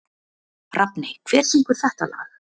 Rafney, hver syngur þetta lag?